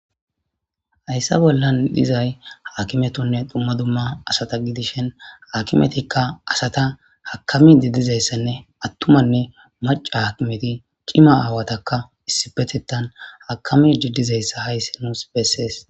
Hayssa bollan dizay haakimetunne dumma dumma asata gidishen hakimetikka asata hakami diddizayssanne attumanne maca hakimeti qima aawatakka issipetetan hakami diddizayssa hayssi nuus bessees.